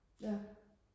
ja